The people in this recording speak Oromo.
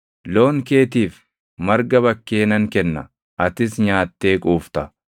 Loon keetiif marga bakkee nan kenna; atis nyaattee quufta.